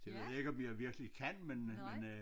Det ved jeg ikke om jeg virkelig kan men øh men øh